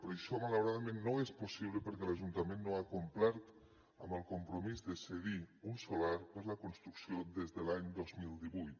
però això malauradament no és possible perquè l’ajuntament no ha complert amb el compromís de cedir un solar per a la construcció des de l’any dos mil divuit